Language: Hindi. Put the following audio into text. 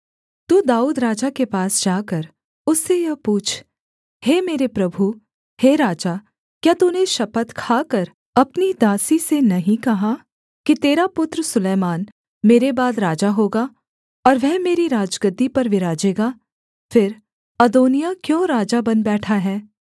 तू दाऊद राजा के पास जाकर उससे यह पूछ हे मेरे प्रभु हे राजा क्या तूने शपथ खाकर अपनी दासी से नहीं कहा कि तेरा पुत्र सुलैमान मेरे बाद राजा होगा और वह मेरी राजगद्दी पर विराजेगा फिर अदोनिय्याह क्यों राजा बन बैठा है